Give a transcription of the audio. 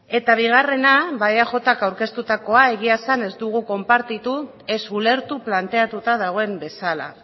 eta bigarrena ba eajk aurkeztutakoa egia esan ez dugu konpartitu ez ulertu planteatuta dagoen bezala